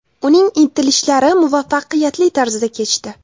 Uning intilishlari muvaffaqiyatli tarzda kechdi.